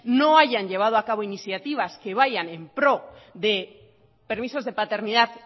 no hayan llevado a cabo iniciativas que vayan en pro de permisos de paternidad